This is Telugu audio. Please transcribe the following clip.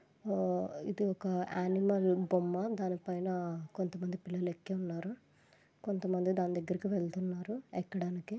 ఇది ఒక యానిమల్ బొమ్మ . దాని పైన కొంతమంది పులి లెక్కె ఉన్నారు. కొంతమంది దాని దెగ్గరికి వెలుతున్నారు ఎక్కడానికి.